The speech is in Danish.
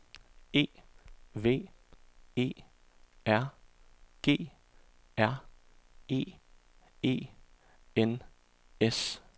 E V E R G R E E N S